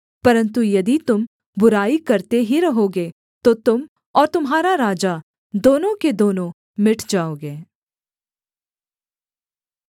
परन्तु यदि तुम बुराई करते ही रहोगे तो तुम और तुम्हारा राजा दोनों के दोनों मिट जाओगे